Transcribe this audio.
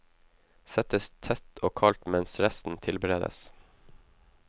Settes tett og kaldt mens resten tilberedes.